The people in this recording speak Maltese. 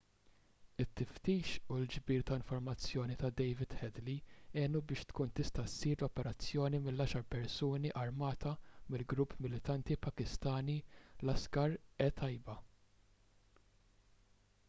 it-tiftix u l-ġbir ta' informazzjoni ta' david headley għenu biex tkun tista' ssir l-operazzjoni mill-10 persuni armati mill-grupp militanti pakistani laskhar-e-taiba